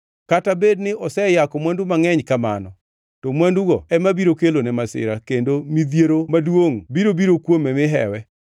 Kata bed ni oseyako mwandu mangʼeny kamano; to mwandugo ema biro kelone masira; kendo midhiero maduongʼ biro biro kuome mi hewe.